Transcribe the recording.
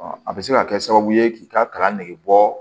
a bɛ se ka kɛ sababu ye k'i ka kalan nege bɔ